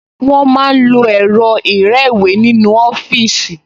Wọ́n máa ń lo ẹ̀rọ ìrẹ́wèé nínú ọfíìsì